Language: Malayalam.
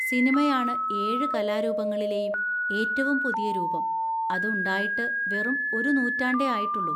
സിനിമയാണ് ഏഴ് കലാരൂപങ്ങളിലെയും ഏറ്റവും പുതിയ രൂപം; അത് ഉണ്ടായിട്ട് വെറും ഒരു നൂറ്റാണ്ടേ ആയിട്ടുള്ളൂ.